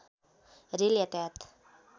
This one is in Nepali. रेल यातायात